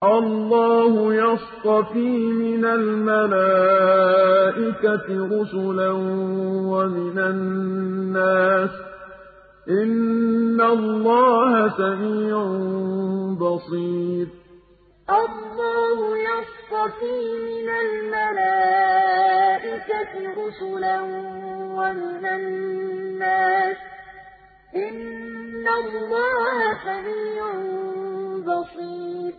اللَّهُ يَصْطَفِي مِنَ الْمَلَائِكَةِ رُسُلًا وَمِنَ النَّاسِ ۚ إِنَّ اللَّهَ سَمِيعٌ بَصِيرٌ اللَّهُ يَصْطَفِي مِنَ الْمَلَائِكَةِ رُسُلًا وَمِنَ النَّاسِ ۚ إِنَّ اللَّهَ سَمِيعٌ بَصِيرٌ